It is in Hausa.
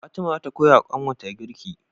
Fatima zata koyawa kanwar ta girki